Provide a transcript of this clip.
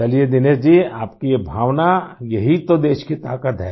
चलिए दिनेश जी आपकी भावना ये ही तो देश की ताक़त है